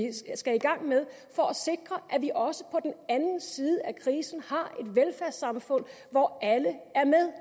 skal i gang med for at sikre at vi også på den anden side af krisen har et velfærdssamfund hvor alle er med